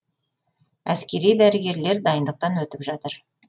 әскери дәрігерлер дайындықтан өтіп жатыр